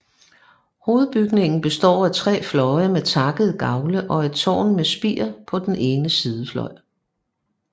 Hovedbygningen består af tre fløje med takkede gavle og et tårn med spir på den ene sidefløj